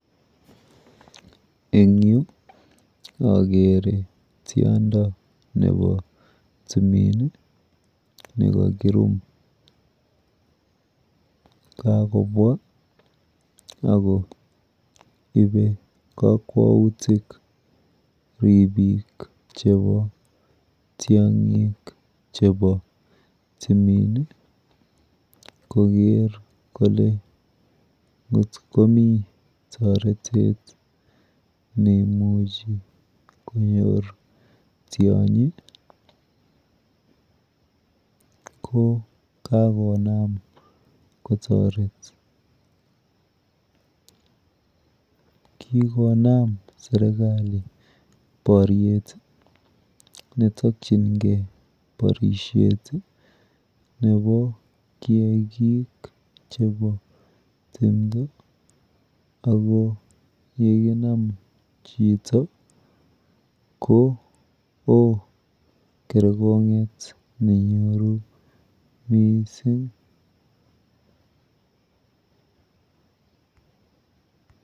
Eng yu akere tiondo nepo tumin nekakirum. Kakobwa ako ipe kakwautik ripik chepo tiong'ik chepo tumin koker kole ngot komi toretet neimuchi konyor tionyi ko kakonam kotoret. Kikonam serikali poryet netokchingei porishet nepo kiakik chepo tumdo ako yekinam chito koo kergong'et nenyoru miising.